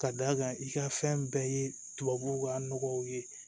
Ka d'a kan i ka fɛn bɛɛ ye tubabuw ka nɔgɔw ye